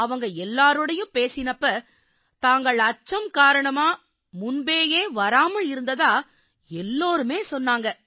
அவங்க எல்லாரோடயும் பேசினப்ப தாங்கள் அச்சம் காரணமாவே முன்பேயே வராம இருந்ததா எல்லாருமே சொன்னாங்க